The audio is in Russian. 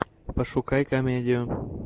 пошукай комедию